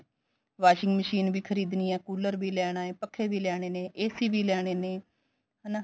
washing machine ਵੀ ਖਰੀਦਣੀ ਐ ਕੂਲਰ ਵੀ ਲੈਣਾ ਐ ਪੱਖੇ ਵੀ ਲੈਣੇ ਨੇ AC ਵੀ ਲੈਣੇ ਨੇ ਹਨਾ